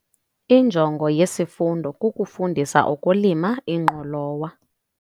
Injongo yesifundo kukufundisa ngokulima ingqolowa.